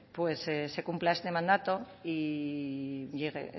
pues se cumpla ese mandato y llegue